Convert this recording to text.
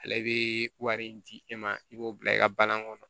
Ale bɛ wari min di e ma i b'o bila i ka balan kɔnɔ